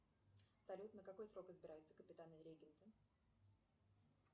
салют на какой срок избираются капитаны регенты